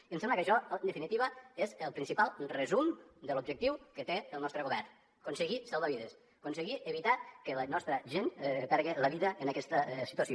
i em sembla que això en definitiva és el principal resum de l’objectiu que té el nostre govern aconseguir salvar vides aconseguir evitar que la nostra gent perdi la vida en aquesta situació